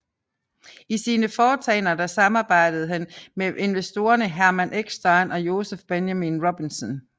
I sine foretagender der samarbejdede han med investorerne Hermann Eckstein og Joseph Benjamin Robinson